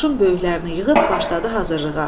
Qoşun böyüklərini yığıb başladı hazırlığa.